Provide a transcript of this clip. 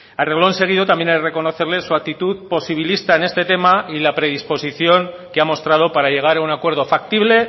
a renglón seguido también he de reconocerle su actitud posibilista en este tema y la predisposición que ha mostrado para llegar a un acuerdo factible